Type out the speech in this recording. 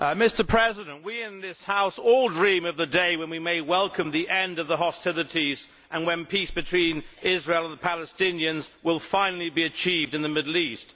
Mr President, we in this House all dream of the day when we may welcome the end of the hostilities and when peace between Israel and the Palestinians will finally be achieved in the Middle East.